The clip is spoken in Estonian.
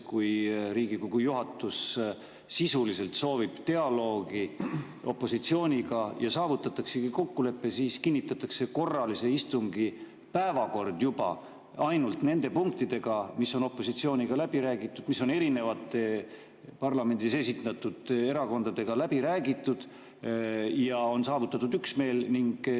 Kui Riigikogu juhatus sisuliselt soovib dialoogi opositsiooniga ja saavutataksegi kokkulepe, siis kinnitatakse korralise istungi päevakord juba ainult nende punktidega, mis on opositsiooniga läbi räägitud, mis on parlamendis esindatud erakondadega läbi räägitud ja milles on saavutatud üksmeel.